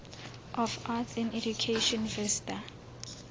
of arts in education vista